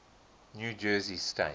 new jersey state